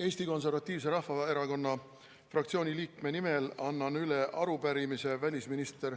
Eesti Konservatiivse Rahvaerakonna fraktsiooni 14 liikme nimel annan üle arupärimise välisminister